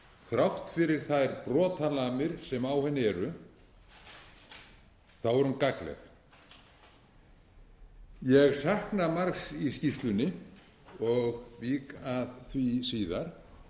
þrátt fyrir þær brotalamir sem á henni eru er hún gagnleg ég sakna margs í skýrslunni og vík að því síðar